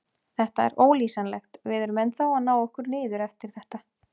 Þetta er ólýsanlegt, við erum ennþá að ná okkur niður eftir þetta.